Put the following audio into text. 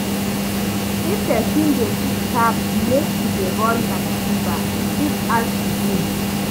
If person dey leave tap make e dey run like river, e fit add to bills